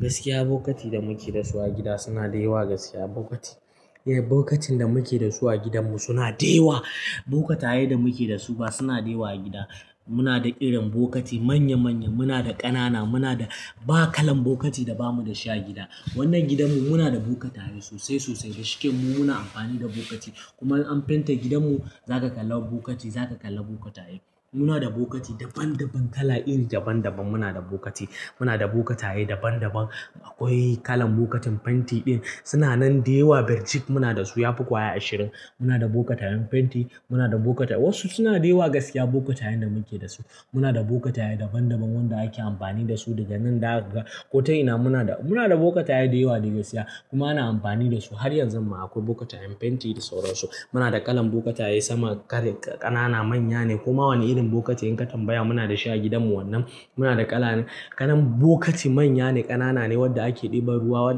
Gaskiya, bokatin da muke da su a gida suna da yawa. Gaskiya, bokatin da muke da su a gidanmu suna da yawa. Bokatai da muke da su suna da yawa a gida. Muna da irin bokati manya manya, muna da ƙanana, ba kalan bokati da ba mu da shi a gida. Wannan gidanmu muna da bokatai sosai sosai da shike mu muna amfani da bokati. Kuma in an fenta gidanmu. Zaka kalla bokati, zaka kalla bokatai. Muna da bokati daban daban, kala iri daban daban muna da bokati. Muna da bokatai daban daban. Akwai kalan bokatin fenti ɗin, suna nan da yawa. Birjik muna da su, ya fi ƙwaya ashirin. Muna da bokatayen fenti, muna da bokata wasu suna da yawa. Gaskiya bokatayen da muke da su, muna da bokatai daban daban wanda ake amfani da su daga nan daga ƙoto ina. Muna da bokatai da yawa. Kuma ana amfani da su. Har yanzu ma akwai bokatayen fenti da sauransu. Muna da kalan bokataye sama, kare, ƙanana, manya ne. Koma wani irin bokati in ka tambaya muna da shi a gidanmu. Wannan muna da kalan bokati manya ne, ƙanana ne, wadda ake ɗiba ruwa.